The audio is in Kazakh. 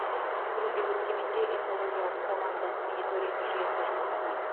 бүгінде өскеменде экологиялық қоғамдық мониторинг жүйесі жұмыс істейді